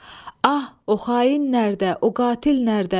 Ah, o xain nərədə, o qatil nərədə?